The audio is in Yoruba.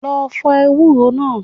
Lọ fọ ewúro náà.